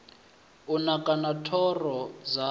u naka na thoro dzawo